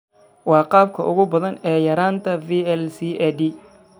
Waa qaabka ugu badan ee yaraanta VLCAD.